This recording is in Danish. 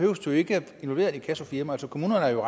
jo ikke at involvere et inkassofirma altså kommunerne er jo